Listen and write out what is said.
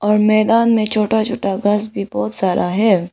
और मैदान में छोटा छोटा घास भी बहोत सारा है।